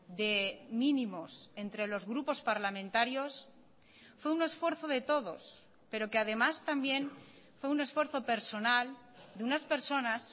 de mínimos entre los grupos parlamentarios fue un esfuerzo de todos pero que además también fue un esfuerzo personal de unas personas